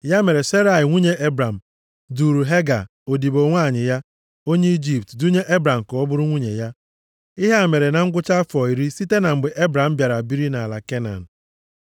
Ya mere Serai nwunye Ebram, duuru Hega, odibo nwanyị ya, onye Ijipt, dunye Ebram ka ọ bụrụ nwunye ya. Ihe a mere na ngwụcha afọ iri site na mgbe Ebram bịara biri nʼala Kenan.